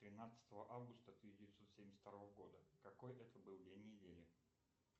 тринадцатого августа тысяча девятьсот семьдесят второго года какой это был день недели